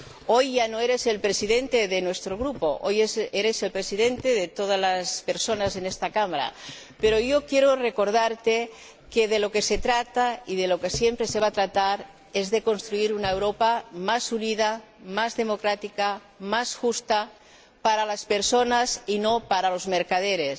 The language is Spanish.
Hoy ya no eres el Presidente de nuestro Grupo, hoy eres el Presidente de todas las personas en esta Cámara, pero yo quiero recordarte que de lo que se trata y de lo que siempre se va a tratar es de construir una Europa más unida, más democrática, más justa para las personas y no para los mercaderes.